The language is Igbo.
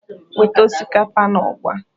"Weta osikapa na agwa!"